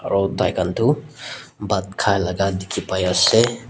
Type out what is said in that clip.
Ro tai khan tu phat kai laka dekhe pai ase.